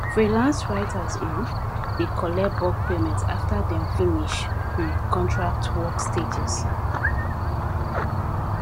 freelance writers um dey collect bulk payment after dem finish um contract work stages